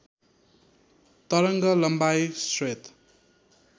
तरङ्ग लम्बाइ श्वेत